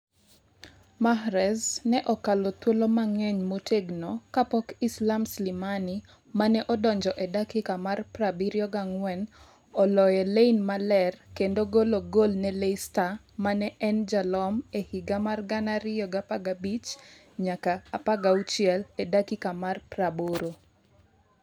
Mahrez ne okalo thuolo mang'eny motegno kapok Islam Slimani, mane odonjo e dakika mar 74, oloye lain maler kendo golo gol ne Leicester, mane en jalom e higa mar 2015-16, e dakika mar 80.